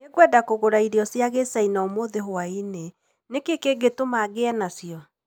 Nĩngwenda kũgũra irio cia kĩ Chaina ũmũthĩ hwaĩinĩ. Nĩ kĩĩ kĩngĩtũma ngĩe nacio?